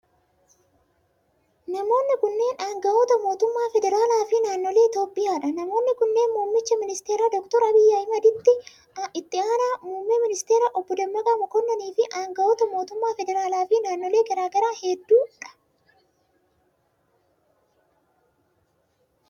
Namoonni kunneen aangawoota mootummaa fedraalaa fi naannolee Itoophiyaa dha. Namoonni kunneen muummicha ministeeraa Doktar Abiy Ahimad, itti aanaa muummee ministeeraa Obbo Dammaqa makonnin fi aangawoota mootummaa federaalaa fi naannolee garaa garaa hedduu dha.